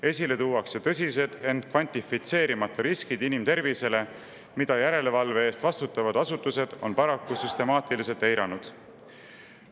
Esile tuuakse tõsised, ent kvantifitseerimata riskid inimtervisele, mida järelevalve eest vastutavad asutused on paraku süstemaatiliselt eiranud.